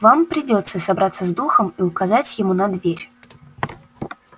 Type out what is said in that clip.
вам придётся собраться с духом и указать ему на дверь